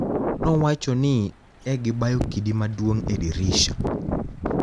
nowacho nii ni egibayo kidi maduonig e dirisha